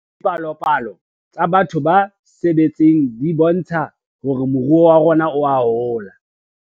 Dipalopalo tsa batho ba sebetseng di bontsha hore moruo wa rona oa hola